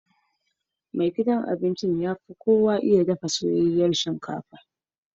Mai dafa abinci yana yin pizza mafi kyau.